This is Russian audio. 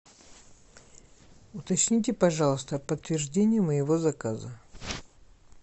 уточните пожалуйста подтверждение моего заказа